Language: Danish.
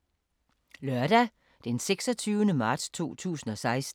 Lørdag d. 26. marts 2016